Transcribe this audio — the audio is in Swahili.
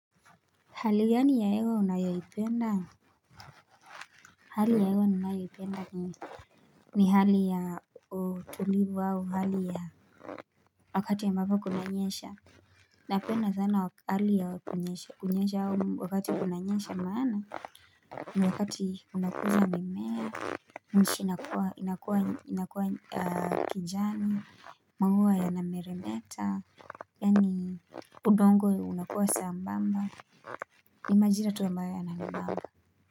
Hali ya ni ya ewa unayoipenda? Hali ya ewa unayoi penda ni ni hali ya tulibu au hali ya wakati ya mbaba kunanyesha Napena sana wakali ya kunyesha wakati ya kunanyesha maana? Ni wakati unakuza ni mea nchi inakua kinjani Magua yanameremeta Yani udongo unakuza sambamba ni majira tuambayo yanamambamba.